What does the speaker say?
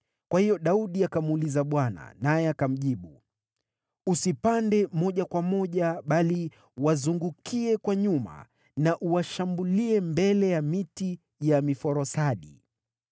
Kwa hiyo Daudi akamuuliza Bwana , naye akamjibu, “Usipande moja kwa moja, bali wazungukie kwa nyuma na uwashambulie mbele ya miti ya miforosadi.